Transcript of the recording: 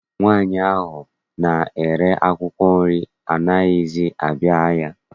Nwaanyị ahụ na-ere akwụkwọ nri anaghịzi abịa ahịa.